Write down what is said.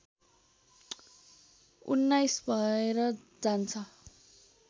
१९ भएर जान्छ